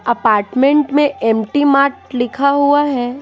Apartment में MT mart लिखा हुआ है।